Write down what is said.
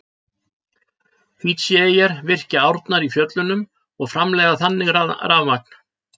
Fídjíeyjar virkja árnar í fjöllunum og framleiða þannig rafmagn.